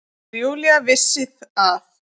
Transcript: Þegar Júlía vissi að